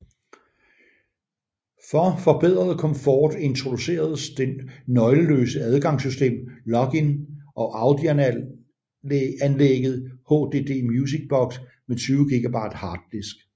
For forbedret komfort introduceredes det nøgleløse adgangssystem Login og audioanlægget HDD Music Box med 20 GB harddisk